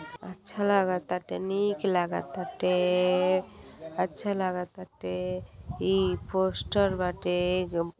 अच्छा लगतते निक लगता। अच्छा लगताते। ई पोस्टर बाटे।